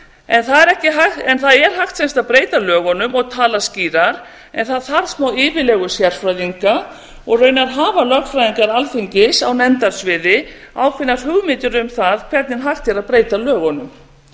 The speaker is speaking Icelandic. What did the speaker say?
almannahagsmunum það er hægt sem sagt að breyta lögunum og tala skýrar en það þarf smáyfirlegu sérfræðinga og raunar hafa lögfræðingar alþingis á nefndasviði ákveðnar hugmyndir um það hvernig hægt er að breyta lögunum ég